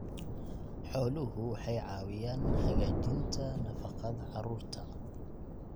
Xooluhu waxay caawiyaan hagaajinta nafaqada carruurta.